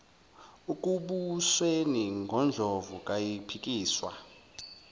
ekubusweni ngondlovu kayiphikiswa